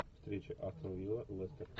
встреча астон вилла лестер